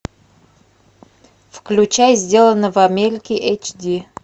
включай сделано в америке эйч ди